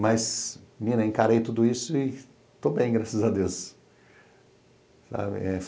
Mas, menina, encarei tudo isso e estou bem, graças a Deus.